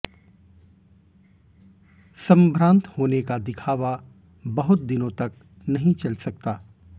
संभ्रांत होने का दिखावा बहुत दिनों तक नहीं चल सकता